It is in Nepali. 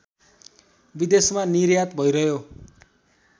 विदेशमा निर्यात भइरह्यो